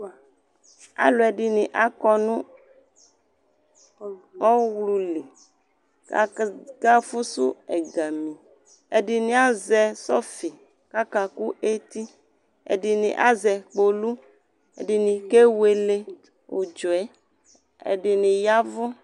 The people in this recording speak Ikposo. Alu ɛdini akɔ nʋ ɔwlu li Kakafʋsʋ ɛgamiƐdini azɛ sɔfi kakakʋ etiƐdini azɛ kpolu Ɛdini kewele udzɔɛ ɛdini yavʋ